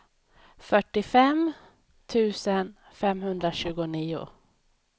fyrtiofem tusen femhundratjugonio